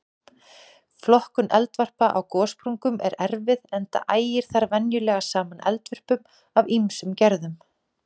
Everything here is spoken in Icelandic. Flokkun eldvarpa á gossprungum er erfið enda ægir þar venjulega saman eldvörpum af ýmsum gerðum.